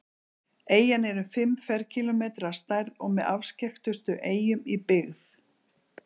eyjan er um fimm ferkílómetrar að stærð og með afskekktustu eyjum í byggð